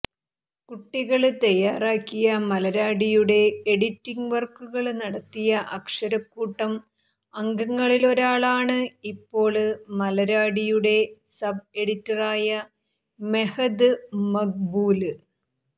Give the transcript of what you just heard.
കുട്ടികള് തയാറാക്കിയ മലര്വാടിയുടെ എഡിറ്റിംഗ് വര്ക്കുകള് നടത്തിയ അക്ഷരക്കൂട്ടം അംഗങ്ങളിലൊരാളാണ് ഇപ്പോള് മലര്വാടിയുടെ സബ് എഡിറ്ററായ മെഹദ് മഖ്ബൂല്